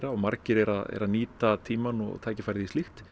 og margir eru að nýta tímann og tækifærið í slíkt